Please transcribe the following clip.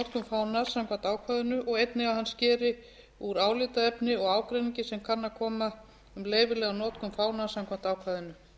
fánans samkvæmt ákvæðinu og einnig að hann skeri úr álitaefni og ágreiningi sem kann að koma um leyfilega notkun fánans samkvæmt ákvæðinu